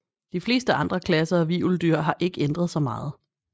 De fleste andre klasser af hvirveldyr har ikke ændret sig meget